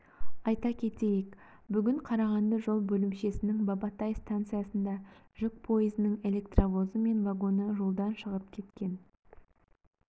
айта кетейік бүгін қарағанды жол бөлімшесінің бабатай станциясында жүк пойызының электровозы мен вагоны жолдан шығып кеткен